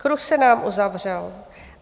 "Kruh se nám uzavřel.